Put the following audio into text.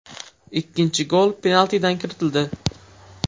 Ikkinchi gol penaltidan kiritildi.